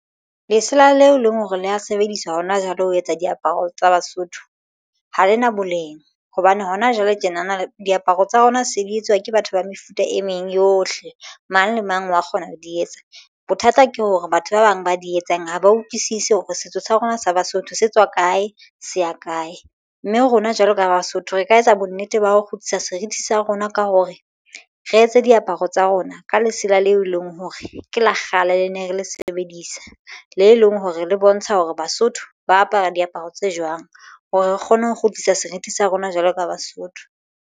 Lesela leo e leng hore le ho sebediswa hona jwale ho etsa diaparo tsa Basotho ha le na boleng hobane hona jwale tjenana diaparo tsa rona se di etsuwa ke batho ba mefuta e meng yohle. Mang le mang wa kgona ho di etsa bothata ke hore batho ba bang ba di etsang ha ba utlwisisi hore setso sa rona sa Basotho se tswa kae se ya kae. Mme rona jwalo ka Basotho re ka etsa bonnete ba ho kgutlisa serithi sa rona ka hore re etse diaparo tsa rona ka lesela leo e leng hore ke lo kgale. Ne re le sebedisa le leng ho re le bontsha hore Basotho ba apara diaparo tse jwang hore re kgone ho kgutlisa serithi sa rona jwalo ka Basotho.